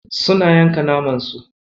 Suna yanka naman su.